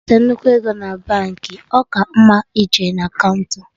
Iweta nnukwu ego na Baankị, ọ ka mma ije na kaụnta